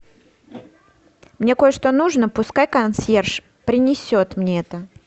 мне кое что нужно пускай консьерж принесет мне это